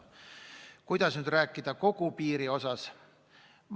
Kas aga rääkida kogu piirist?